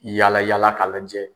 Yala yaala k'a lajɛ.